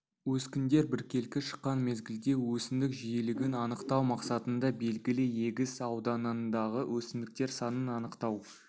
өскіндер біркелкі шыққан мезгілде өсімдік жиілігін анықтау мақсатында белгілі егіс ауданындағы өсімдіктер санын анықтау